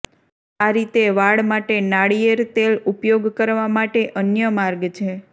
આ રીતે વાળ માટે નાળિયેર તેલ ઉપયોગ કરવા માટે અન્ય માર્ગ છે